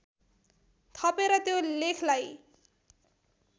थपेर त्यो लेखलाई